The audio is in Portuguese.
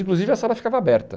Inclusive, a sala ficava aberta.